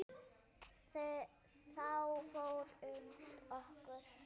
Þá fór um okkur.